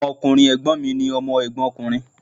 Ọmọ ọkùnrin Ègbón mi ni Ọmọ Ègbón ọkùnrin